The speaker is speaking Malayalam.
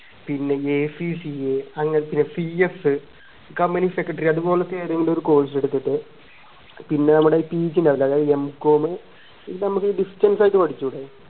പിന്നെ ACCA അങ്ങനത്തെ പിന്നെ PFcompany secretary അതുപോലെത എങ്കിലും ഒരു course എടുത്തിട്ട് പിന്നെ നമ്മുടെ PG ഉണ്ടാവൂല്ലേ അതായത് M.Com എന്നിട്ട് നമുക്ക് distance ആയി പഠിച്ചൂടെ